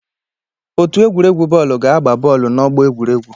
Otu egwuregwu bọọlụ ga-agba bọọlụ n'ọgbọ egwuregwu.